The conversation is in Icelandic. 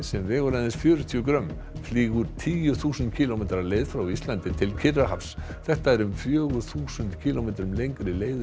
sem vegur aðeins fjörutíu grömm flýgur tíu þúsund kílómetra leið frá Íslandi til Kyrrahafs þetta er um fjögur þúsund kílómetrum lengri leið